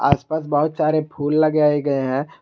आस पास बहुत सारे फूल लगाए गए हैं।